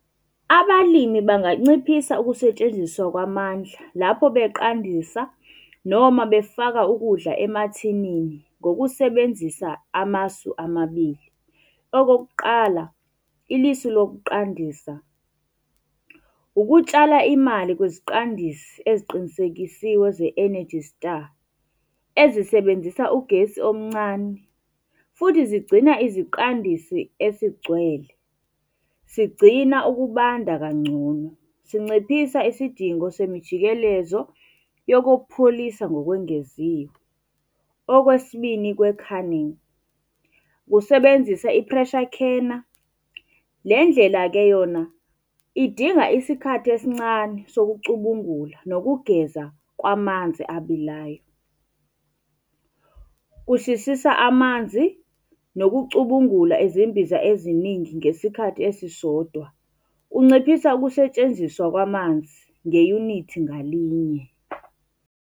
Abalimi banganciphisa ukusetshenziswa kwamandla lapho beqandisa noma befaka ukudla emathinini ngokusebenzisa amasu amabili. Okokuqala, ilisu lokuqandisa, ukutshala imali kwiziqandisi eziqinisekisiwe ze-ENERGY STAR, ezisebenzisa ugesi omncane, futhi zigcina iziqandisi esigcwele. Sigcina ukubanda kangcono. Sinciphisa isidingo semijikelezo yoku kokupholisa ngokwengeziwe. Okwesibini kwe-canning, ukusebenzisa i-pressure canner. Le ndlela-ke yona idinga isikhathi esincane sokucubungula nokugeza kwamanzi abilayo. Kushisisa amanzi nokucubungula izimbiza eziningi ngesikhathi esisodwa. Kunciphisa ukusetshenziswa kwamanzi ngeyunithi ngalinye.